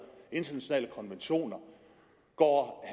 internationale konventioner går